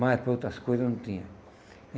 Mas para outras coisas não tinha.